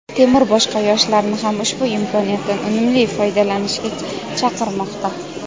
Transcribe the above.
Temur boshqa yoshlarni ham ushbu imkoniyatdan unumli foydalanishga chaqirmoqda.